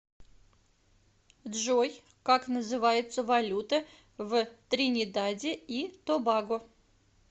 джой как называется валюта в тринидаде и тобаго